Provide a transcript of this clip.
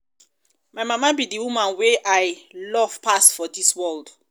my mama be the woman wey i love pass for dis world